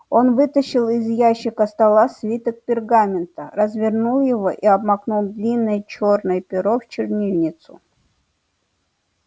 он вытащил из ящика стола свиток пергамента развернул его и обмакнул длинное чёрное перо в чернильницу